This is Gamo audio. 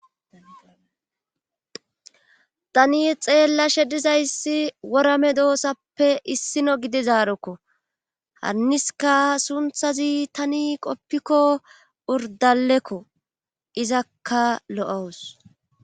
tani xeella she dizayssi worame doosappe issino gide zaarokko hanniska sunthazi tani qoppikko urdalekko izakka lo7owus